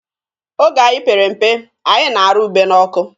Oge anyị pere mpe, anyị na-arụ ube n'ọkụ.